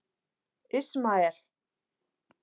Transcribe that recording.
Ismael